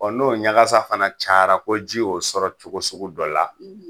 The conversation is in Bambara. Ɔ n'o ɲagasa fana cayara ko ji y'o sɔrɔ cogo sugu dɔ la